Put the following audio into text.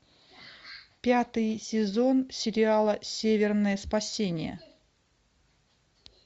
пятый сезон сериала северное спасение